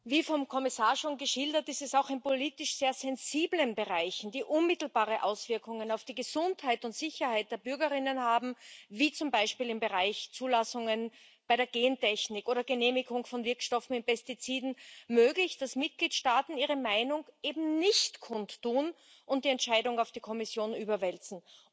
Wie vom Kommissar schon geschildert, ist es auch in politisch sehr sensiblen Bereichen, die unmittelbare Auswirkungen auf die Gesundheit und Sicherheit der Bürgerinnen und Bürger haben, wie zum Beispiel im Bereich Zulassungen, bei der Gentechnik oder Genehmigung von Wirkstoffen mit Pestiziden, möglich, dass Mitgliedstaaten ihre Meinung eben nicht kundtun und die Entscheidung auf die Kommission überwälzen.